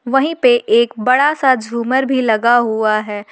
वहीं पर एक बड़ा सा झूमर भी लगा हुआ है।